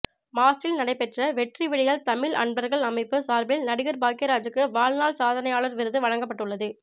மாஸ்டில் நடைபெற்ற வெற்றி விடியல் தமிழ் அன்பர்கள் அமைப்பு சார்பில் நடிகர் பாக்கியராஜுக்கு வாழ்நாள் சாதனையாளர் விருது வழங்கப்பட்டுள்ளது